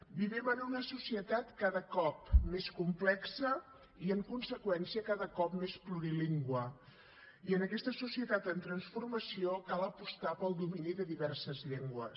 vivim en una societat cada cop més complexa i en conseqüència cada cop més plurilingüe i en aquesta societat en transformació cal apostar pel domini de diverses llengües